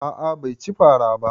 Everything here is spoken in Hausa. A'a bai ci fara ba